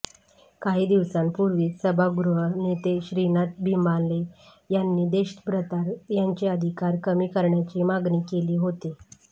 काही दिवसांपूर्वीच सभागृह नेते श्रीनाथ भिमाले यांनी देशभ्रतार यांचे अधिकार कमी करण्याची मागणी केली होती